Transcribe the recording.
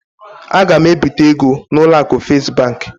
A ga m ebite ego n'ụlọ akụ Fes bank.